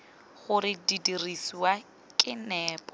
gore di dirisiwa ka nepo